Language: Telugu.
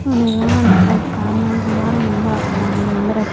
దాని ముందర